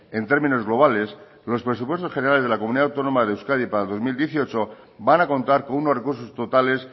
en términos globales los presupuestos generales de la comunidad autónoma de euskadi para el dos mil dieciocho van a contar con unos recursos totales